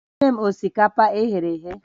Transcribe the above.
Meere m osikapa e ghere eghe!